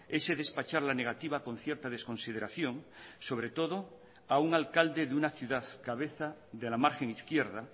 ese despachar la negativa con cierta desconsideración sobre todo a un alcalde de una ciudad cabeza de la margen izquierda